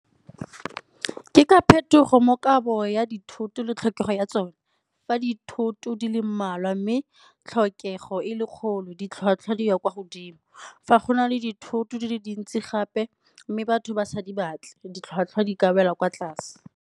Ke ka phetogo mo kabo ya dithoto le tlhokego ya tsone, fa dithoto di le mmalwa mme tlhokego e le kgolo ditlhwatlhwa di ya kwa godimo. Fa go na le dithoto di le dintsi gape mme batho basadi batle, ditlhwatlhwa di ka wela kwa tlase.